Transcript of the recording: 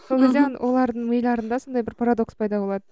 сол кезде олардың миларында сондай бір парадокс пайда болады